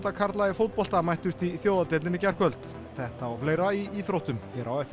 karla í fótbolta mættust í í gærkvöld þetta og fleira í íþróttum hér á eftir